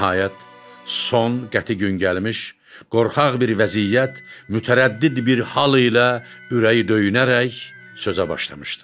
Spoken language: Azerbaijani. Nəhayət, son qəti gün gəlmiş, qorxaq bir vəziyyət, mütərəddid bir hal ilə ürəyi döyünərək sözə başlamışdı.